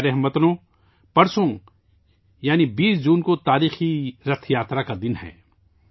میرے پیارے ہم وطنو، پرسوں یعنی 20 جون کو تاریخی رتھ یاترا کا دن ہے